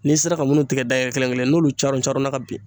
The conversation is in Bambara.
N'i sera ka munnu tigɛ dayɛlɛ kelen kelen n'olu carɔn carɔn na ka bin.